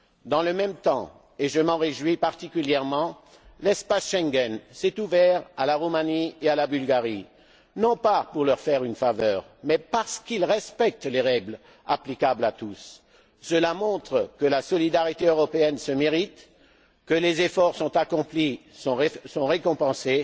Dans le même temps et je m'en réjouis particulièrement l'espace Schengen s'est ouvert à la Roumanie et à la Bulgarie, non pas pour leur faire une faveur, mais parce qu'ils respectent les règles applicables à tous. Cela montre que la solidarité européenne se mérite, que les efforts accomplis sont récompensés.